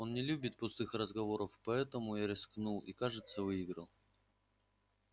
он не любит пустых разговоров и поэтому я рискнул и кажется выиграл